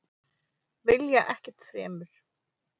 Vilja ekkert fremur.